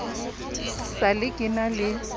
sa le ke na le